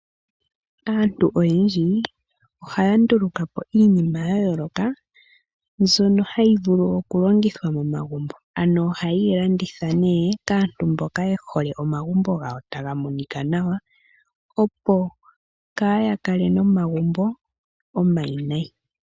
Aantu oyendji ohaanduluka po iinima yayolokathana ndjono hayi vulu okulongithwa momagumbo no hayeyi landitha kaantu mboka yehole momagumbo ngawo tamu monika nawa opo kaayakale nomagumbo omawinayi.